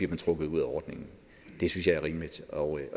trukket ud af ordningen det synes jeg er rimeligt og